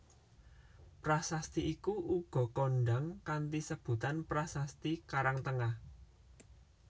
Prasasti iku uga kondhang kanthi sebutan prasasti Karangtengah